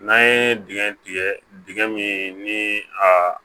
N'an ye dingɛ min ni a